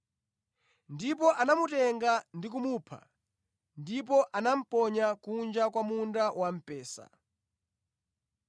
Ndipo anamutenga ndi kumupha, ndipo anamuponya kunja kwa munda wamphesa.